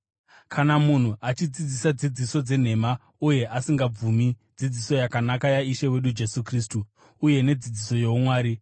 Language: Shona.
Kana munhu achidzidzisa dzidziso dzenhema uye asingabvumi dzidziso yakanaka yaIshe wedu Jesu Kristu uye nedzidziso youmwari,